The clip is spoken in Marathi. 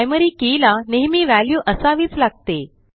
प्रायमरी के ला नेहमी वॅल्यू असावीच लागते